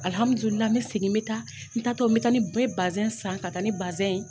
n bɛ segin n bɛ taa n taatɔ n bɛ taa ni n bɛ san ka taa ni ye.